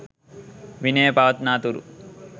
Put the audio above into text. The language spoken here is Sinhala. විනය පවත්නා තුරු